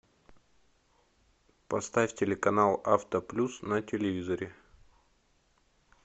поставь телеканал автоплюс на телевизоре